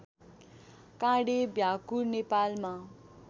काँडे भ्याकुर नेपालमा